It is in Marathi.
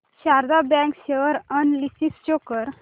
Sharda bank share analysis show कर